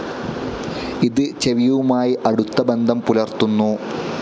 ഇത് ചെവിയുമായി അടുത്ത ബന്ധം പുലർത്തുന്നു.